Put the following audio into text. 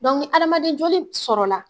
Dɔnku ni adamaden joli b sɔrɔla